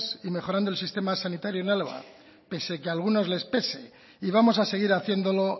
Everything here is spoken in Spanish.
y mejorando el sistema sanitario en álava pese que algunos les pese y vamos a seguir haciéndolo